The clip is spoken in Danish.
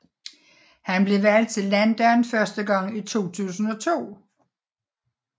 Han blev valgt til landdagen første gang i 2002